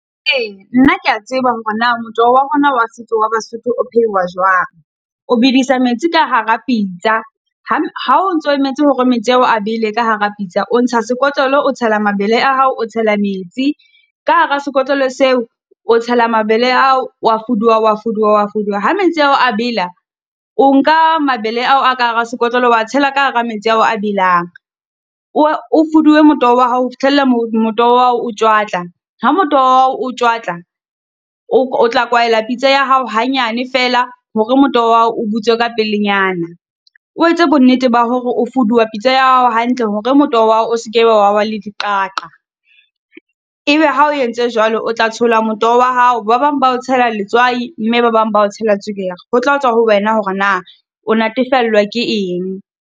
Eya nna key a tseba hore na motoho wa rona wa setso wa Basotho o pheuwa jwang. O bedisa metsi ka hara pitsa, ha o ntso emetse hore metsi ao a bele ka hara pitsa, o ntsha sekotlolo, o tsela mabele a hao, o tshela metsi ka hara sekotlolo seo, o tshela mabele a hao, o wa fuduwa, o wa fuduwa, o wa fuduwa. Ha metsi a hao a bela, o nka mabele ao a ka hara sekotlolo o wa tshela ka hara metsi ao a belang. O o fuduwe motoho wa hao ho fihlella motoho wa hao o tjwatla. Ha motoho wa hao o tjwatla, o o tla kwahela pitsa ya hao hanyane fela hore motoho wa hao o butswe ka pelenyana. O etse bonnete ba hore o fuduwa pitsa ya hao hantle, hore motoho wa hao o seke be wa ba le diqaqa. E be ha o entse jwalo, o tla tshola motoho wa hao, ba bang ba o tshela letswai, mme ba bang bao tshela tswekere. Ho tla tswa ho wena hore na o natefellwa ke eng.